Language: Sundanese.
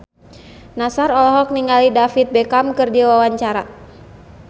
Nassar olohok ningali David Beckham keur diwawancara